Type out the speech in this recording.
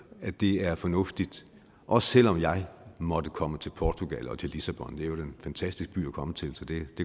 at det er fornuftigt også selv om jeg måtte komme til portugal og til lissabon det er jo en fantastisk by at komme til så det